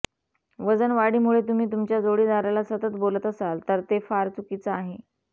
वजन वाढीमुळे तुम्ही तुमच्या जोडीदाराला सतत बोलत असाल तर हे फार चुकीचं आहे